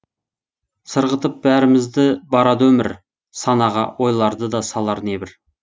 сырғытып бәрімізді барады өмір санаға ойларды да салар небір